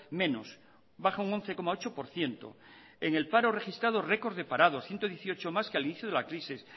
menos baja un once coma ocho por ciento en el paro registrado record de parados ciento dieciocho más que al inicio de la crisis